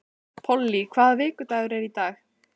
Polly, hvaða vikudagur er í dag?